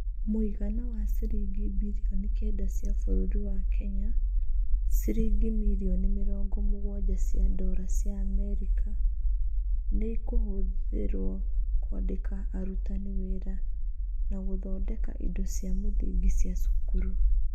Mũigana wa ciringi bilioni kenda cia bũrũri wa Kenya (ciringi mirioni mĩrongo mũgwanja cia dola cia Amerika) nĩ ikũhũthĩrwo kũandĩka arutani wĩra na gũthondeka indo cia mũthingi cia cukuru.